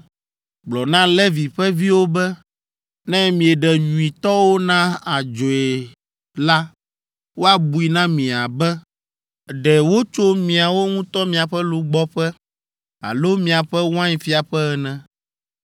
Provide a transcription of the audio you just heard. “Gblɔ na Levi ƒe viwo be, ‘Ne mieɖe nyuitɔwo na adzɔe la, woabui na mi abe ɖe wotso miawo ŋutɔ miaƒe lugbɔƒe alo miaƒe wainfiaƒe ene.